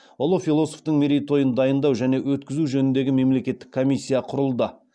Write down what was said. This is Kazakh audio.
ұлы философтың мерейтойын дайындау және өткізу жөніндегі мемлекеттік комиссия құрылды